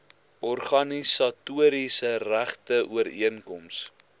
organisatoriese regte ooreenkoms